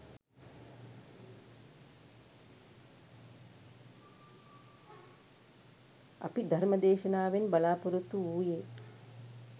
අපි ධර්ම දේශනාවෙන් බලා පොරොත්තු වූයේ